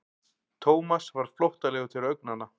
Thomas varð flóttalegur til augnanna.